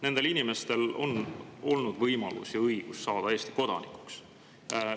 Nendel inimestel on olnud võimalus ja õigus saada Eesti kodanikuks.